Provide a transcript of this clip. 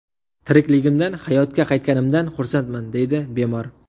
Tirikligimdan, hayotga qaytganimdan xursandman”, deydi bemor.